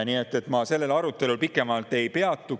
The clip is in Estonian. Nii et ma sellel arutelul pikemalt ei peatu.